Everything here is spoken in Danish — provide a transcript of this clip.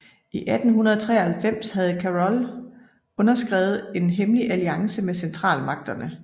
I 1883 havde Carol underskrevet en hemmelig alliance med Centralmagterne